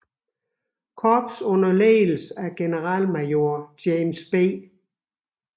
Korps under ledelse af generalmajor James B